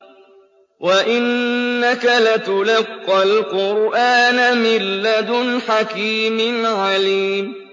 وَإِنَّكَ لَتُلَقَّى الْقُرْآنَ مِن لَّدُنْ حَكِيمٍ عَلِيمٍ